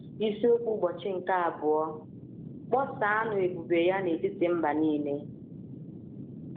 Isiokwu Ụbọchị nke Abụọ: “ Kpọsaanụ Ebube Ya n’Etiti Mba Nile ”